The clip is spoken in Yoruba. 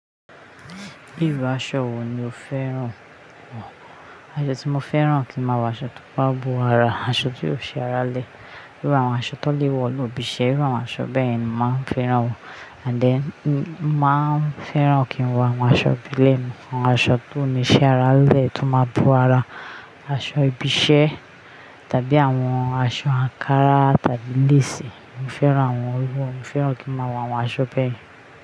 Irú aṣọ wo ni o fẹ́ràn? Aṣọ tí mo fẹ́ràn kí ń máa wọ̀, aṣọ tó máa bo ara, aṣọ tí kò ṣí ara lẹ. Irú àwọn aṣọ tán lè wọ̀ ní ibi iṣẹ́, irú àwọn aṣọ bẹ́ẹ̀ ni màá fẹ́ràn wọ̀. And then, mo màá fẹ́ràn kí ń wọ àwọn aṣọ ìbílẹ̀ mi, àwọn aṣọ tí ò ní ṣí ara lẹ tó máa bo ara, aṣọ ibi iṣẹ́ tàbí àwọn aṣọ àǹkárá tàbí léèsì. Mi ò fẹ́ràn àwọn wọ̀nyẹn, mi ò fẹ́ràn kí ń máa wọ àwọn aṣọ bẹ́ẹ̀.